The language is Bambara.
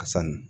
A sanu